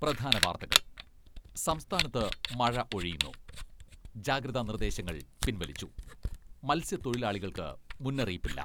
പ്രധാന വാർത്തകൾ സംസ്ഥാനത്ത് മഴ ഒഴിയുന്നു , ജാഗ്രതാ നിർദ്ദേശങ്ങൾ പിൻവലിച്ചു , മത്സ്യത്തൊഴിലാളികൾക്ക് മുന്നറിയിപ്പില്ല.